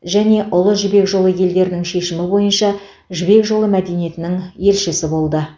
және ұлы жібек жолы елдерінің шешімі бойынша жібек жолы мәдениетінің елшісі болды